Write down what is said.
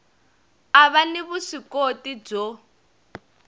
a va ni vuswikoti byo